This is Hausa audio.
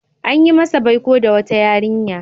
An yi masa baiko da wata yarinya.